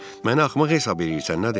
Məni axmaq hesab eləyirsən, nədir?